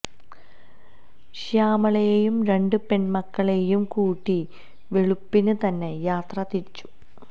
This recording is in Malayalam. ശ്യാമളയെയും രണ്ട് പെൺ മക്കളെയും കൂട്ടി വെളുപ്പിന് തന്നെ യാത്ര തിരിച്ചു